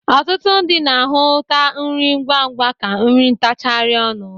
Ọtụtụ ndị na-ahụta nri ngwangwa ka nri ntachagarị ọnụ.